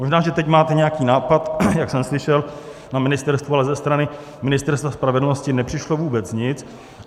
Možná že teď máte nějaký nápad, jak jsem slyšel na ministerstvu, ale ze strany Ministerstva spravedlnosti nepřišlo vůbec nic.